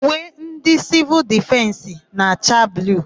Uwe ndị Sịvịl Difensị na-acha bluu.